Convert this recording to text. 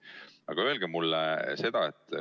Aga öelge mulle seda.